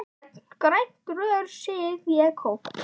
Gegnum grænt rör sýg ég kók.